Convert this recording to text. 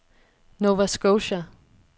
Nova Scotia